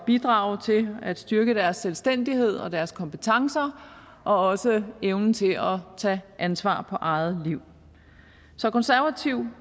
bidrage til at styrke deres selvstændighed og deres kompetencer og også evnen til at tage ansvar for eget liv så konservative